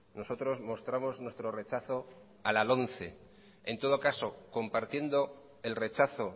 nosotros mostramos nuestro rechazo a la lomce en todo caso compartiendo el rechazo